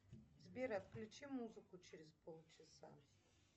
сбер отключи музыку через полчаса